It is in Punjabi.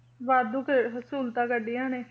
ਵਾਧੂ ਫਿਰ ਸਹੂਲਤਾਂ ਕੱਢੀਆਂ ਨੇ,